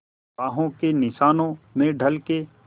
बाहों के निशानों में ढल के